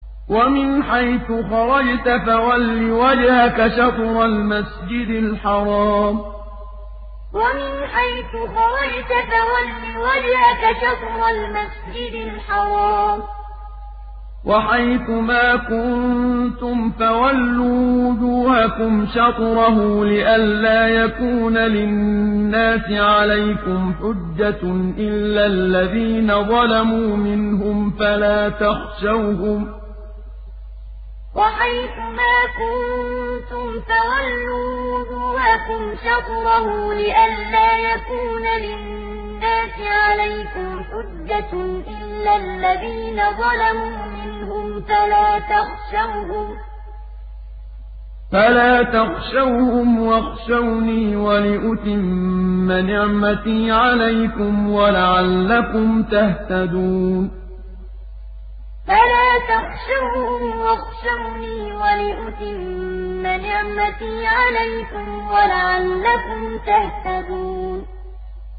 وَمِنْ حَيْثُ خَرَجْتَ فَوَلِّ وَجْهَكَ شَطْرَ الْمَسْجِدِ الْحَرَامِ ۚ وَحَيْثُ مَا كُنتُمْ فَوَلُّوا وُجُوهَكُمْ شَطْرَهُ لِئَلَّا يَكُونَ لِلنَّاسِ عَلَيْكُمْ حُجَّةٌ إِلَّا الَّذِينَ ظَلَمُوا مِنْهُمْ فَلَا تَخْشَوْهُمْ وَاخْشَوْنِي وَلِأُتِمَّ نِعْمَتِي عَلَيْكُمْ وَلَعَلَّكُمْ تَهْتَدُونَ وَمِنْ حَيْثُ خَرَجْتَ فَوَلِّ وَجْهَكَ شَطْرَ الْمَسْجِدِ الْحَرَامِ ۚ وَحَيْثُ مَا كُنتُمْ فَوَلُّوا وُجُوهَكُمْ شَطْرَهُ لِئَلَّا يَكُونَ لِلنَّاسِ عَلَيْكُمْ حُجَّةٌ إِلَّا الَّذِينَ ظَلَمُوا مِنْهُمْ فَلَا تَخْشَوْهُمْ وَاخْشَوْنِي وَلِأُتِمَّ نِعْمَتِي عَلَيْكُمْ وَلَعَلَّكُمْ تَهْتَدُونَ